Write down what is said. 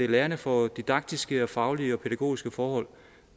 lærerne får didaktiske og faglige og pædagogiske forhold